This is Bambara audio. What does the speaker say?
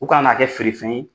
U kana n'a kɛ feere fɛn ye.